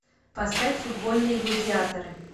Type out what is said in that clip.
поставь футбольные гладиаторы